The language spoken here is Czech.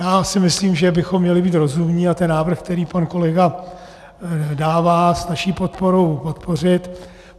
Já si myslím, že bychom měli být rozumní a ten návrh, který pan kolega dává s naší podporou, podpořit.